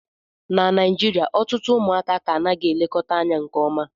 na Naijirịa ọtụtụ ụmụaka ka anaghị elekọta anya nke ọma